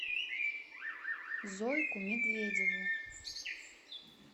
зойку медведеву